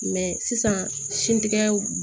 sisan sintigɛw